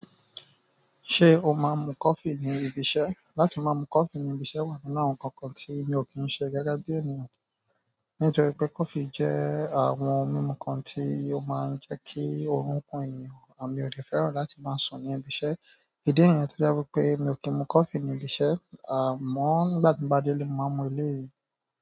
Ṣé o máa ń mu coffee ní ibi iṣẹ́? Látí máa mú coffee ní ibi iṣẹ́ wà nínú àwọn nǹkan kan tí mi ò kí ń ṣe gẹ́gẹ́ bí ènìyàn, nítorí pé coffee jẹ́ àwọn ohun mímu kan tí ó máa ń jẹ́ kí oorun kun ènìyàn, mi ò dẹ̀ fẹ́ràn láti máa sùn ní ibi iṣẹ́. Ìdí nìyẹn tó jẹ́ wípé mi ò kí ń mu coffee ní ibi iṣẹ́, àmọ́ nígbà tí mo bá délé mo máa ń mu eléyìí.